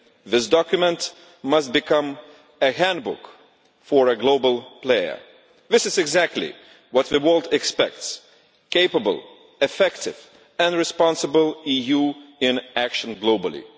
This document must become a handbook for a global player. This is what the world expects a capable, effective and responsible EU in action globally.